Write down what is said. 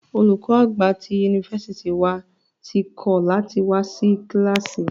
Olùkọ àgbà tí yunifásítì wà tí kọ̀ lati wá sí kílàsì.